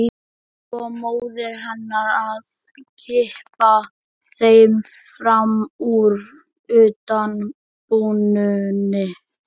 Svo móðir hennar að kippa þeim fram úr undan bununni.